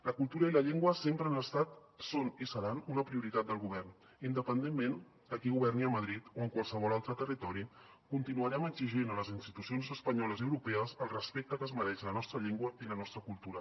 la cultura i la llengua sempre han estat són i seran una prioritat del govern independentment de qui governi a madrid o en qualsevol altre territori continuarem exigint a les institucions espanyoles i europees el respecte que es mereix la nostra llengua i la nostra cultura